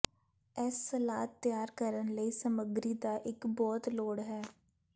ਇਸ ਸਲਾਦ ਤਿਆਰ ਕਰਨ ਲਈ ਸਮੱਗਰੀ ਦਾ ਇੱਕ ਬਹੁਤ ਲੋੜ ਹੈ